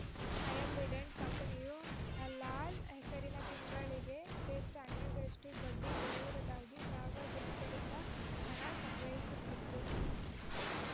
Ambidant ಕಂಪನಿಯು ಹಲಾಲ ಹೆಸರಿನಲ್ಲಿ ತಿಂಗಳಿಗೆ ಶ್ರೇಷ್ಠ ಹನ್ನೆರಡು ರಷ್ಟುಬಡ್ಡಿ ಕೊಡುವುದಾಗಿ ಸಾರ್ವಜನಿಕರಿಂದ ಹಣ ಸಂಗ್ರಹಿಸುತ್ತಿತ್ತು